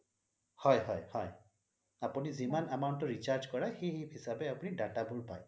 হয় হয় হয় আপুনি যিমান amount ৰ recharge কৰাই সেই হিচাবে আপুনি data বোৰ পাই